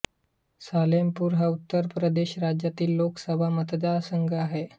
सालेमपूर हा उत्तर प्रदेश राज्यातील लोकसभा मतदारसंघ आहे